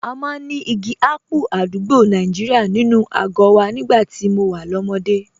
A máa ń ní igi ápù àdúgbò Nàìjíríà nínú àgọ́ wa nígbà tí mo wà lọ́mọdé